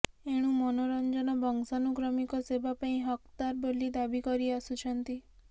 ଏଣୁ ମନୋରଂଜନ ବଂଶାନୁକ୍ରମିକ ସେବା ପାଇଁ ହକ୍ଦାର ବୋଲି ଦାବି କରି ଆସୁଛନ୍ତି